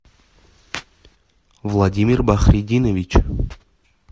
владимир бахритдинович